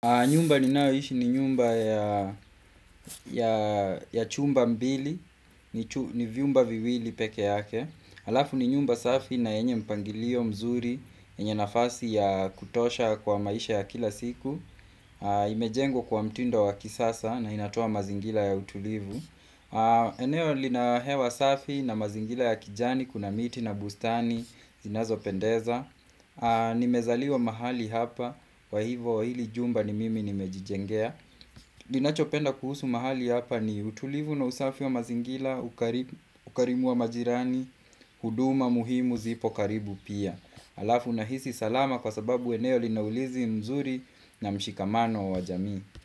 Nyumba ninaoishi ni nyumba ya ya chumba mbili, ni chu ni viumba viwili peke yake. Alafu ni nyumba safi na enye mpangilio mzuri, enye nafasi ya kutosha kwa maisha ya kila siku. Imejengwa kwa mtindo wa kisasa na inatoa mazingila ya utulivu. Eneo lina hewa safi na mazingila ya kijani, kuna miti na bustani, zinazo pendeza. Nimezaliwa mahali hapa kwa hivo hili jumba ni mimi nimejijengea Dinachopenda kuhusu mahali hapa ni utulivu na usafi wa mazingila ukari ukarimu wa majirani huduma muhimu zipo karibu pia alafu nahisi salama kwa sababu eneo lina ulinzi mzuri na mshikamano wa wajamii.